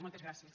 moltes gràcies